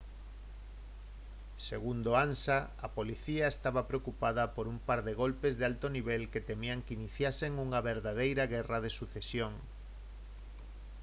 segundo ansa: «a policía estaba preocupada por un par de golpes de alto nivel que temían que iniciasen unha verdadeira guerra de sucesión